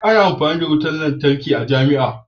Ana koyan ilimin wutar lantarki a jamia